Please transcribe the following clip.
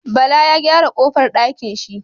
Bala Ya gyara kofar dakin shi